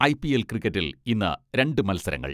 IPL ക്രിക്കറ്റിൽ ഇന്ന് രണ്ട് മത്സരങ്ങൾ.